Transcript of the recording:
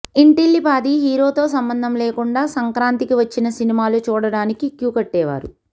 ఇంటిల్లిపాదీ హీరోతో సంబంధం లేకుండా సంక్రాంతికి వచ్చిన సినిమాలు చూడటానికి క్యూ కట్టేవారు